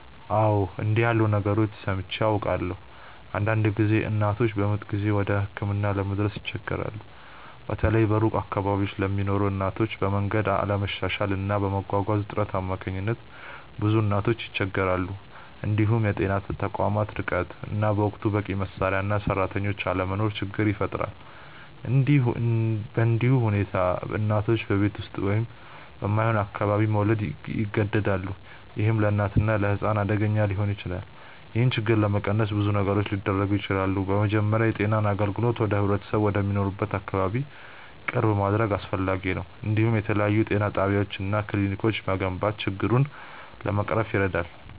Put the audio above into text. አዎ፣ እንዲህ ያሉ ነገሮችን ሰምቼ አውቃለሁ። አንዳንድ ጊዜ እናቶች በምጥ ጊዜ ወደ ሕክምና ለመድረስ ይቸገራሉ፤ በተለይ በሩቅ አካባቢዎች ለሚኖሩ እናቶች፤ በመንገድ አለመሻሻል እና በመጓጓዣ እጥረት አማካኝነት ብዙ እናቶች ይቸገራሉ። እንዲሁም የጤና ተቋማት ርቀት እና በወቅቱ በቂ መሳሪያ እና ሰራተኞች አለመኖር ችግር ይፈጥራል። በእንዲህ ሁኔታ እናቶች በቤት ውስጥ ወይም በማይሆን አካባቢ መውለድ ይገደዳሉ፣ ይህም ለእናትና ለሕፃን አደገኛ ሊሆን ይችላል። ይህን ችግር ለመቀነስ ብዙ ነገሮች ሊደረጉ ይችላሉ። በመጀመሪያ የጤና አገልግሎትን ወደ ህብረተሰቡ ወደሚኖርበት አካባቢ ቅርብ ማድረግ አስፈላጊ ነው፤ እንዲሁም የተለያዩ ጤና ጣቢያዎች እና ክሊኒኮች መገንባት ችግሩን ለመቅረፍ ይረዳል።